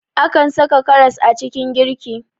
Akan saka karas a cikin girki